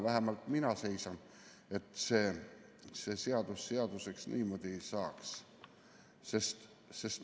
Vähemalt mina seisan selle vastu, et see niimoodi seaduseks saaks.